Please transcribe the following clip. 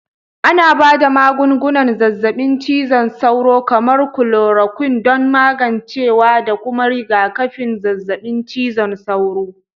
Ana ba da magungunan zazzabin cizon sauro, kamar kulorakwin, don magancewa da kuma rigakafin zazzabin cizon sauro